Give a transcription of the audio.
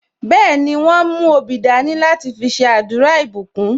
Bẹẹni, wọn mú obì dání láti fi ṣe àdúrà ìbùkún